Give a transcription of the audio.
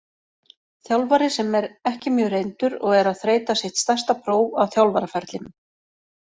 Þjálfari sem er ekki mjög reyndur og er að þreyta sitt stærsta próf á þjálfaraferlinum.